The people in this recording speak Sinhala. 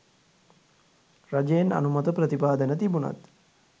රජයෙන් අනුමත ප්‍රතිපාදන තිබුනත්